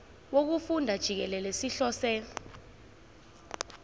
wokufunda jikelele sihlose